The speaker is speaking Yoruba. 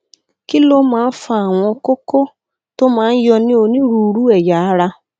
kí ló máa ń fa àwọn kókó tó máa ń yọ ní onírúurú ẹyà ara